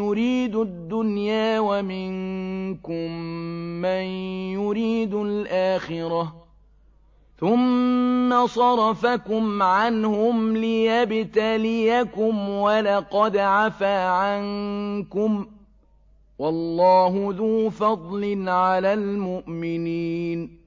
يُرِيدُ الدُّنْيَا وَمِنكُم مَّن يُرِيدُ الْآخِرَةَ ۚ ثُمَّ صَرَفَكُمْ عَنْهُمْ لِيَبْتَلِيَكُمْ ۖ وَلَقَدْ عَفَا عَنكُمْ ۗ وَاللَّهُ ذُو فَضْلٍ عَلَى الْمُؤْمِنِينَ